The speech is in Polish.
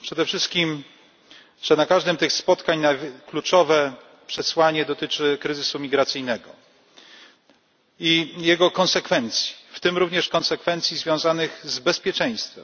Przede wszystkim to, że na każdym z tych spotkań kluczowe przesłanie dotyczy kryzysu migracyjnego i jego konsekwencji, w tym również konsekwencji związanych z bezpieczeństwem.